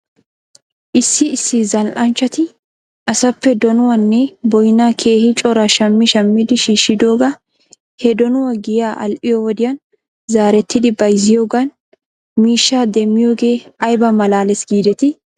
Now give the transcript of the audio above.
Issi issi zal'anchchati asaappe donuwaanne boynnaa keehi coraa shammi shammidi shiishidoogaa he donuwaa giyay al"iyoo wodiyan zaarettidi bayzziyoogan miishshaa demmiyoogee ayba malaales giidetii?